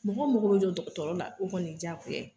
Mɔgɔw mako bɛ jɔ dɔgɔtɔrɔ la o kɔni ye diyagoya ye